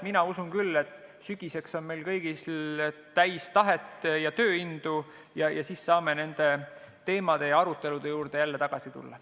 Mina usun küll, et sügiseks on oleme me kõik täis tahet ja tööindu ning siis saame nende teemade arutelude juurde jälle tagasi tulla.